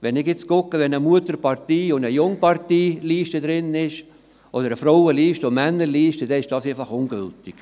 Wenn ich sehe, dass eine Liste einer Mutter- und eine Liste einer Jungpartei enthalten ist, oder eine Frauen- und eine Männerliste, dann sind diese einfach ungültig.